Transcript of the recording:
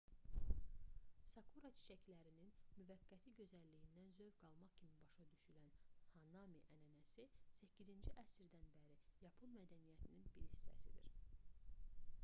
sakura çiçəklərinin müvəqqəti gözəlliyindən zövq almaq kimi başa düşülən hanami ənənəsi viii əsrdən bəri yapon mədəniyyətinin bir hissəsidir